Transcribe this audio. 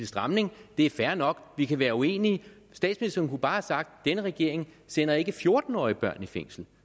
stramning det er fair nok vi kan være uenige statsministeren kunne bare have sagt denne regering sender ikke fjorten årige børn i fængsel